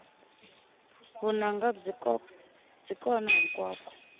vunanga byi kona hinkwako